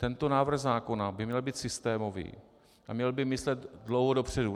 Tento návrh zákona by měl být systémový a měl by myslet dlouho dopředu.